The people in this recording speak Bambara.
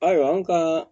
Ayiwa anw ka